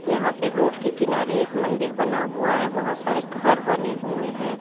यहां पे रोड के किनारे एक मंदिर बना हुआ है बहोत सारे घर बने हुए हैं।